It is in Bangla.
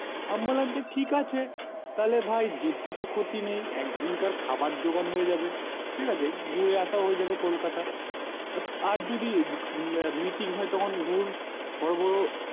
আমি বললাম যে ঠিক আছে তাহলে ভাই যেতে তো ক্ষতি নেই একদিন কার খাবার যোগান হয়ে যাবে ঠিক আছে ঘুরে আসায় হয়ে যাবে কলকাতা আর যদি meeting হয় তখন ধরুন বড়ো বড়ো